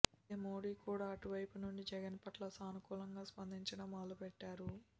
అయితే మోదీ కూడా అటువైపు నుండి జగన్ పట్ల సానుకూలంగా స్పందించడం మొదలుపెట్టారు